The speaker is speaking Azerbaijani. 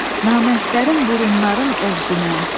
Namərdlərin burunların ovginən.